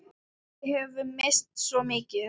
Við höfum misst svo mikið.